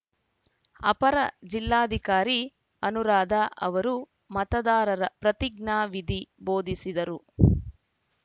ಅಪರ ಜಿಲ್ಲಾಧಿಕಾರಿ ಅನುರಾಧ ಅವರು ಮತದಾರರ ಪ್ರತಿಜ್ಞಾ ವಿಧಿ ಬೋಧಿಸಿದರು